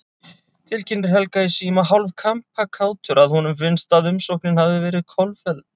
Tilkynnir Helga í síma, hálf kampakátur að honum finnst, að umsóknin hafi verið kolfelld.